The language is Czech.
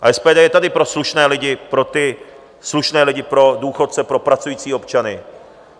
A SPD je tady pro slušné lidi, pro ty slušné lidi, pro důchodce, pro pracující občany.